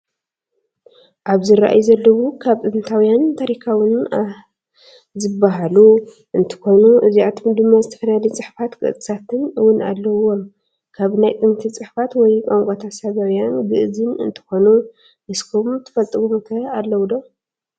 ኣብ ዝረኣዩ ዘለው ካብ ጥንታውያን ታሪካውያን ኣእን ዝበሃሉ እትከኑ እዚኣቶም ድማ ዝተፈላለዩ ፅሑፋት ቅርፅታትን እውን ኣለውዎም። ካብ ናይ ጥንቲ ፅሑፋት ወይ ቋነቋታት ሳባውያን ግእዝን እትከኑ ንስኩም ትፈልጥዎም ከ ኣለው ዶ?